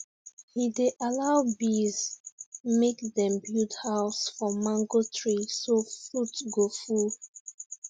he dey allow bees make dem build house for mango tree so fruit go full